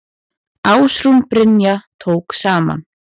Ásrún Brynja tók saman.